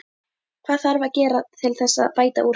Hvað þarf að gera til þess að bæta úr þessu?